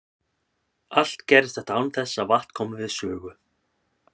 Allt gerðist þetta án þess að vatn kom við sögu.